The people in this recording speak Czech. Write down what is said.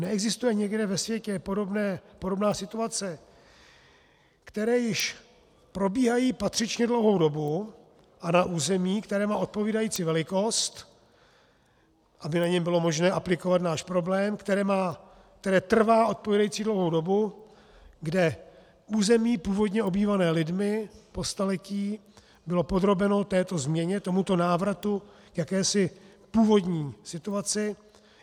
Neexistuje někde ve světě podobná situace, která již probíhá patřičně dlouhou dobu a na území, které má odpovídající velikost, aby na něm bylo možné aplikovat náš problém, které trvá odpovídající dlouhou dobu, kde území původně obývané lidmi, po staletí, bylo podrobeno této změně, tomuto návratu k jakési původní situace?